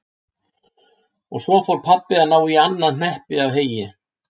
Og svo fór pabbi að ná í annað hneppi af heyi.